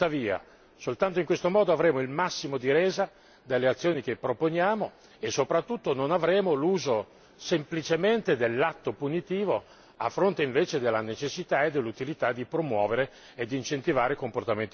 Soltanto in questo modo avremo il massimo di resa dalle azioni che proponiamo e, soprattutto, non avremo l'uso semplicemente dell'atto punitivo a fronte invece della necessità e dell'utilità di promuovere e d'incentivare comportamenti positivi.